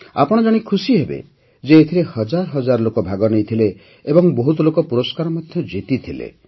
ଆପଣ ଜାଣି ଖୁସିହେବେ ଯେ ଏଥିରେ ହଜାର ହଜାର ଲୋକ ଭାଗ ନେଇଥିଲେ ଏବଂ ବହୁତ ଲୋକ ପୁରସ୍କାର ମଧ୍ୟ ଜିତିଥିଲେ